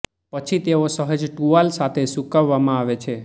પછી તેઓ સહેજ ટુવાલ સાથે સૂકવવામાં આવે છે